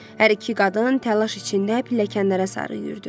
Hər iki qadın təlaş içində pilləkənlərə sarı yüyürdü.